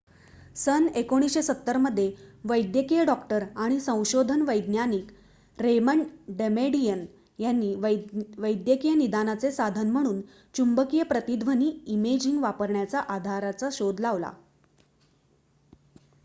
सन १९७० मध्ये वैद्यकीय डॉक्टर आणि संशोधन वैज्ञानिक रेमंड डमेडियन यांनी वैद्यकीय निदानाचे साधन म्हणून चुंबकीय प्रतिध्वनी इमेजिंग वापरण्याच्या आधाराचा शोध लावला